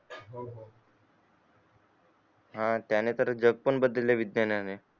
हा त्याने तर जग पण बददले विज्ञाने